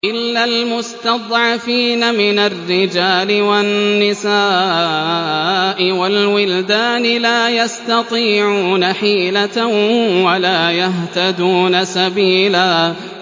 إِلَّا الْمُسْتَضْعَفِينَ مِنَ الرِّجَالِ وَالنِّسَاءِ وَالْوِلْدَانِ لَا يَسْتَطِيعُونَ حِيلَةً وَلَا يَهْتَدُونَ سَبِيلًا